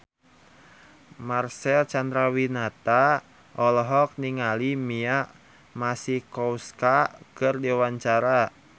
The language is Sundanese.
Marcel Chandrawinata olohok ningali Mia Masikowska keur diwawancara